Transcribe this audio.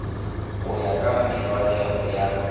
go ya ka meragelo ya